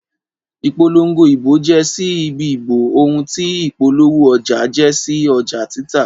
Ìpolongo ìbò jẹ́ sí ìdìbò ohun tí ìpolówó ọjà jẹ́ sí ọjà títà.